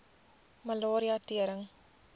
malaria tering